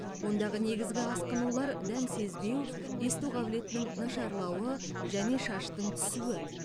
ондағы негізгі асқынулар дәм сезбеу есту қабілетінің нашарлауы және шаштың түсуі